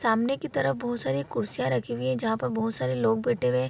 सामने की तरफ बहोत सारी कुर्सियाँ रखी हुई हैं जहाँ पर बहोत सारे लोग बैठे हुए हैं।